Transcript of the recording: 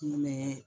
Kun bɛ